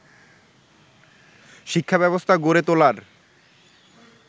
শিক্ষাব্যবস্থা গড়ে তোলার